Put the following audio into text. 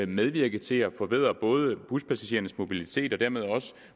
medvirke til at forbedre buspassagerernes mobilitet og dermed